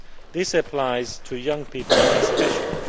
This applies to young people especially.